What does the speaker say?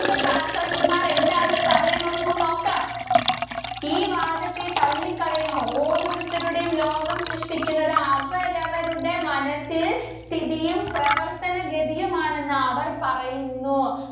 ~ക ശാസ്ത്രജ്ഞന്‍മാര്‍ എന്താണ് പറഞ്ഞേ എന്ന് നമുക്ക് നോക്കാം. ഈ വാദത്തെ തള്ളിക്കളയുന്നു ഓരോരത്തരുടെയും ലോകം സൃഷ്ടിക്കുന്നത് അവരവുടെ മനസ്സില്‍ സ്ഥിതിയും, പ്രവര്‍ത്തനഗതിയും ആണെന്ന് അവര്‍ പറയുന്നു.